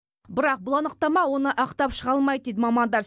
бірақ бұл анықтама оны ақтап шыға алмайды дейді мамандар